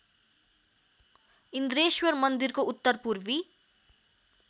इन्द्रेश्वर मन्दिरको उत्तरपूर्वी